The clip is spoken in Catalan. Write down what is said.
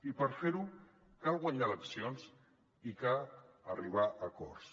i per fer ho cal guanyar eleccions i cal arribar a acords